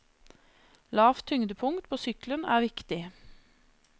Lavt tyngdepunkt på sykkelen er viktig.